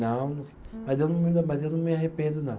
Não, mas eu não, mas eu não me arrependo, não.